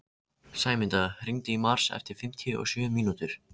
Sæmunda, hringdu í Mars eftir fimmtíu og sjö mínútur.